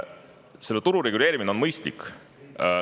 Selle turu reguleerimine on mõistlik.